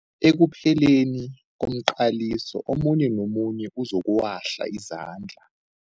Ekupheleni komqaliso omunye nomunye uzokuwahla izandla.